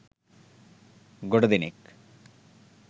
ගොඩ දෙනෙක්